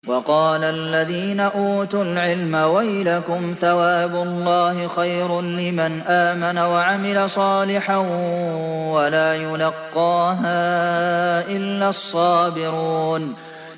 وَقَالَ الَّذِينَ أُوتُوا الْعِلْمَ وَيْلَكُمْ ثَوَابُ اللَّهِ خَيْرٌ لِّمَنْ آمَنَ وَعَمِلَ صَالِحًا وَلَا يُلَقَّاهَا إِلَّا الصَّابِرُونَ